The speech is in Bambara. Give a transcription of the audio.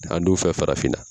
An dunfɛ farafinna